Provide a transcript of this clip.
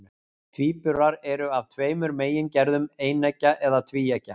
Tvíburar eru af tveimur megingerðum, eineggja eða tvíeggja.